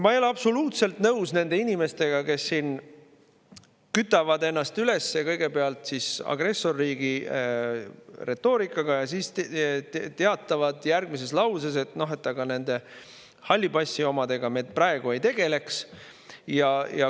Ma ei ole absoluutselt nõus nende inimestega, kes siin kütavad ennast üles kõigepealt agressorriigi retoorikaga ja siis teatavad järgmises lauses, et aga nende halli passi omadega me praegu ei tegeleks.